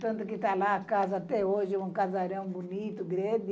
Tanto que está lá a casa até hoje, um casarão bonito, grande